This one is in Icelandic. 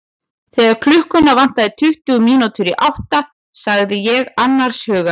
Þegar klukkuna vantaði tuttugu mínútur í átta sagði ég annars hugar.